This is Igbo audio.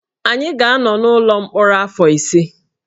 Anyị ga-anọ n’ụlọ mkpọrọ afọ ise